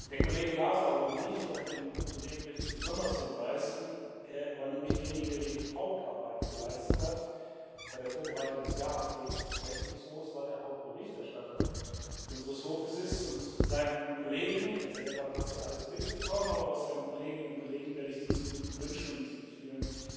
Der Kollege Lazarou und ich auf den Kollegen möchte ich besonders hinweisen, er war nämlich derjenige, der die Hauptarbeit geleistet hat bei der Vorbereitung des Jahresberichtes des Rechnungshofs, weil er Hauptberichterstatter unseres Hofes ist und seinen Kollegen er selber hat das ja alles mitbekommen aber auch seinen Kolleginnen und Kollegen werde ich diese guten Wünsche und diese vielen